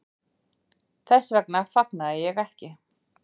Þess vegna fagnaði ég ekki.